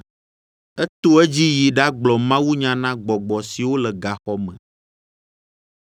Eto edzi yi ɖagblɔ mawunya na gbɔgbɔ siwo le gaxɔ me,